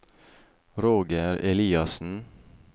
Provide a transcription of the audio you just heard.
Roger Eliassen